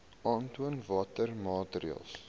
aantoon watter maatreëls